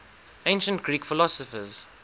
ancient greek philosophers